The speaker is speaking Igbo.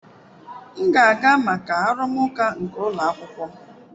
M ga-aga maka arụmụka nke ụlọ akwụkwọ.